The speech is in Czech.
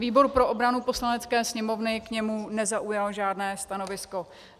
Výbor pro obranu Poslanecké sněmovny k němu nezaujal žádné stanovisko.